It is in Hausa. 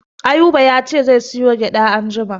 Ayuba ya ce zai sayo gyaɗa anjima.